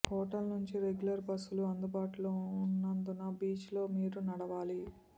hotel నుంచి regular బస్సులు అందుబాటులో ఉన్నందున బీచ్లో మీరు నడవాలి